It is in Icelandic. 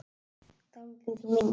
Dálítið til minja.